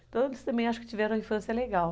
Então, eles também acho que tiveram uma infância legal.